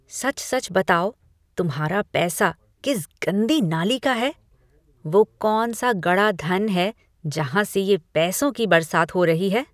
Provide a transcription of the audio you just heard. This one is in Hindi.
सच सच बताओ तुम्हारा पैसा किस गंदी नाली का है? वो कौन सा गड़ा धन है जहाँ से ये पैसों की बरसात हो रही है।